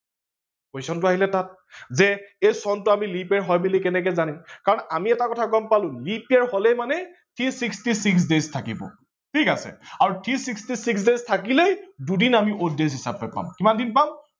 question টো আহিলে তাত যে এই চনটো আমি leap year হয় বুলি কেনেকে জানিম কাৰন আমি এটা কথা গম পালো leap year হলেই মানে three sixty six days থাকিব ঠিক আছে আৰু three sixty six days থাকিলেই দুদিন আমি odd days হিচাপে পাম, কিমান দিন পাম